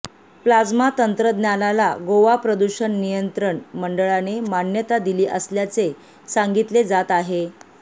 plasma तंत्रज्ञानाला गोवा प्रदूषण नियंत्रण मंडळाने मान्यता दिली असल्याचे सांगितले जात आहे